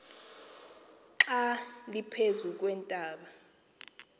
xa liphezu kweentaba